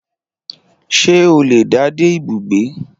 Ṣé o le dá dé ibùgbé